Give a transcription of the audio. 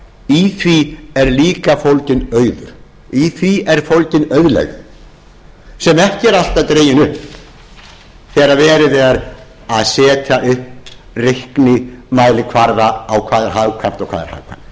í því er líka fólginn auður í því er fólgin auðlegð sem ekki er alltaf dregin upp þegar verið er að setja upp reiknimælikvarða á hvað er hagkvæmt og hvað ekki tökum